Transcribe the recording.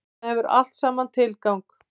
Þetta hefur allt saman tilgang.